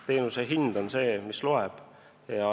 Teenuse hind on see, mis loeb.